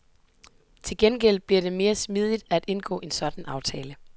Til gengæld bliver det mere smidigt at indgå en sådan aftale.